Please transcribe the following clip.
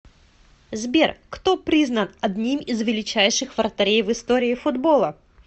сбер кто признан одним из величайших вратарей в истории футбола